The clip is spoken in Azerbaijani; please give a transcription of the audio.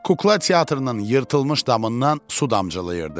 Kukla teatrının yırtılmış damından su damcılayırdı.